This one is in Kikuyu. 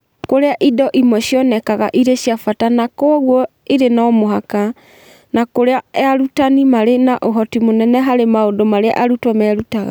Kũrĩa indo imwe cionekaga irĩ cia bata na kwoguo irĩ no mũhaka, na kũrĩa arutani maarĩ na ũhoti mũnene harĩ maũndũ marĩa arutwo merutaga.